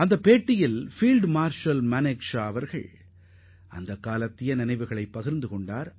அதில் field marshal Sam Manekshaw அவர் கர்னலாக இருந்த காலத்தை நினைவுகூர்ந்துள்ளார்